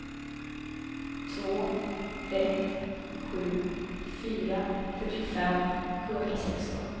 två ett sju fyra fyrtiofem sjuhundrasexton